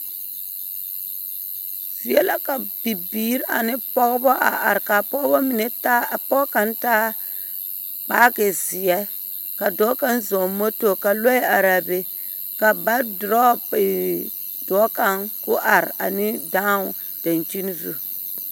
Zie la ka pɔgeba mine ane bibiiri ane pɔgeba a are ka a pɔgeba mine taa ka pɔge kaŋa taa baage zeɛ. Ka dɔɔ kaŋa zɔŋ moto ka lɔɛ are a be. Ka ba dorɔɔ eee dɔɔ kaŋa ane dao daŋkyini zu.